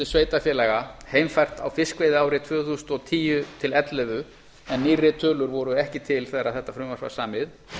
sveitarfélaga heimfært á fiskveiðiárið tvö þúsund og tíu tvö þúsund og ellefu en nýrri tölur voru ekki til þegar þetta frumvarp var samið